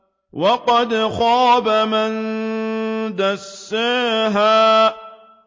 وَقَدْ خَابَ مَن دَسَّاهَا